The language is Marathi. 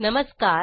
नमस्कार